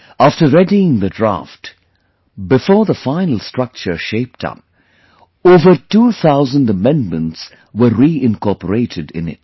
After readying the Draft, before the final structure shaped up, over 2000 Amendments were re incorporated in it